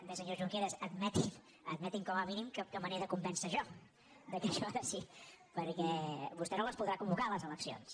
bé senyor junqueras ad·meti’m com a mínim que me n’he de convèncer jo que això és així què vostè no les podrà convocar les eleccions